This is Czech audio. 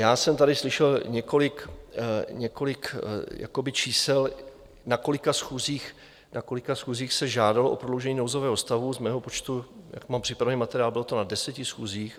Já jsem tady slyšel několik čísel, na kolika schůzích se žádalo o prodloužení nouzového stavu, z mého počtu, jak mám připravený materiál, bylo to na deseti schůzích.